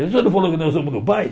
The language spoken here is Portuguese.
Você não falou que nós vamos no baile?